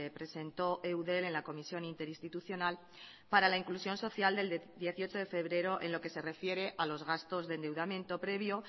presentó eudel en la comisión interinstitucional para la inclusión social del dieciocho de febrero en lo que se refiere a los gastos de endeudamiento previo